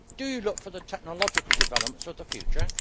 Do you look for the technological developments of the future?